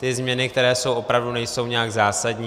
Ty změny, které jsou, opravdu nejsou nějak zásadní.